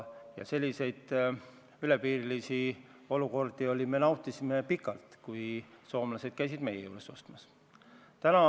Ja seda me ise nautisime pikalt, kui soomlased käisid meie juures ostmas.